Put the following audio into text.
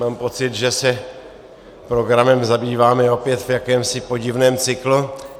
Mám pocit, že se programem zabýváme opět v jakémsi podivném cyklu.